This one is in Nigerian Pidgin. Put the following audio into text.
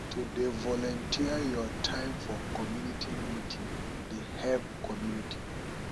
to dey volunteer your time for community meeting dey help community